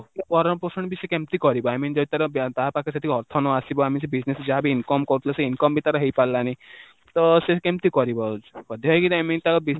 ତ ଭରଣ ପୋଷଣ ସେ କେମିତି କରିବ? I mean ଯଦି ତାର ତା ପାଖରେ ସେତିକି ଅର୍ଥ ନ ଆସିବ ଆମେ ସେ business ରେ ଯାହା ବି income କରୁଥିଲେ, ସେ income ବି ତାର ହେଇପାରିଲାନି, ତ ସେ କେମିତି କରିବ? ବାଧ୍ୟ ହେଇକି I mean ତା business